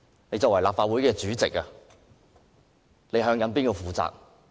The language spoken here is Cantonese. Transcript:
你身為立法會主席，究竟向誰負責？